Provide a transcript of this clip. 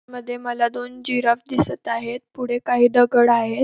मध्ये मला दोन जिराफ दिसत आहेत पुढे काही दगड आहेत.